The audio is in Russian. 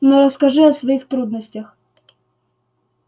но расскажи о своих трудностях